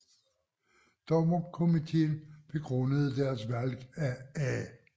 Dommerkomiteen begrundede deres valg af A